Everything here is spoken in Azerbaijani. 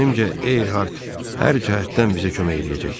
Zənnimcə Eyhart hər cəhətdən bizə kömək eləyəcək.